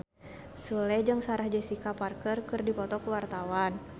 Sule jeung Sarah Jessica Parker keur dipoto ku wartawan